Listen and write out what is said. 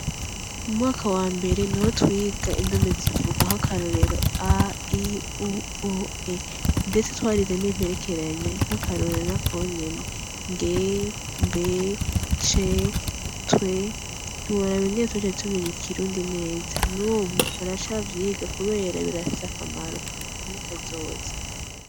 Mu mwaka wa mbere niho twiga indome zivuga nk'akarorero ndetse twarize n'imperekeranya nk'akarorero ra konyen ng b c tw ntubarabengene tce tumenye ikirundi neza nubu baracavyiga kubera birafise akamaro muri kazoza.